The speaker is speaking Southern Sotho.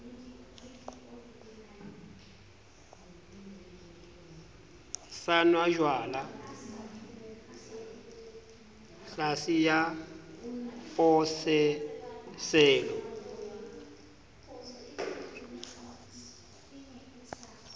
sa nwajwala tlhase ya pososelo